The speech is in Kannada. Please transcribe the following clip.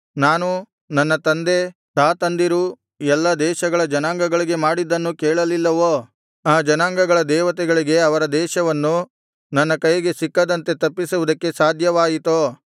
ನಾನೂ ನನ್ನ ತಂದೆ ತಾತಂದಿರೂ ಎಲ್ಲಾ ದೇಶಗಳ ಜನಾಂಗಗಳಿಗೆ ಮಾಡಿದ್ದನ್ನು ಕೇಳಲಿಲ್ಲವೋ ಆ ಜನಾಂಗಗಳ ದೇವತೆಗಳಿಗೆ ಅವರ ದೇಶವನ್ನು ನನ್ನ ಕೈಗೆ ಸಿಕ್ಕದಂತೆ ತಪ್ಪಿಸುವುದಕ್ಕೆ ಸಾಧ್ಯವಾಯಿತೋ